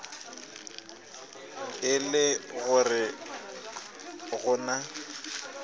e le gore go na